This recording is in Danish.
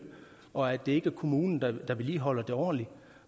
og at det er kommunen der ikke vedligeholder det ordentligt